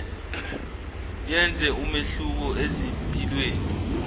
yenze umehluko ezimpilweni